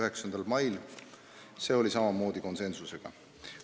Kõik otsused langetati konsensusega.